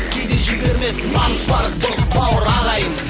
кейде жібермес намыс бар дос бауыр ағайын